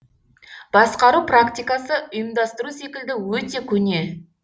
басқару практиқасы ұйымдастыру секілді өте көне